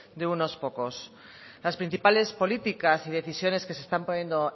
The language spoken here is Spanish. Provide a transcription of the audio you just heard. de unos pocos las principales políticas y decisiones que se están poniendo